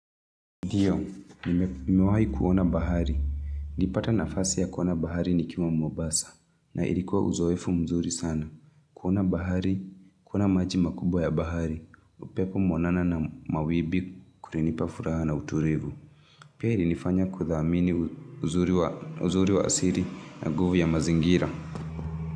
Ndiyo, nimewahi kuona bahari. Nilipata nafasi ya kuona bahari nikiwa Mombasa. Na ilikuwa uzoefu mzuri sana. Kuona bahari, kuona maji makubwa ya bahari. Upepo mwanana na mawimbi kulinipa furaha na utulivu. Pia ilinifanya kuthamini uzuri wa asili na nguvi ya mazingira.